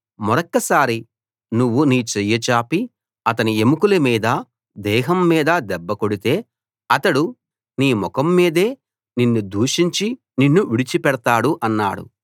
మరొక్కసారి నువ్వు నీ చెయ్యి చాపి అతని ఎముకల మీదా దేహం మీదా దెబ్బ కొడితే అతడు నీ ముఖం మీదే నిన్ను దూషించి నిన్ను విడిచిపెడతాడు అన్నాడు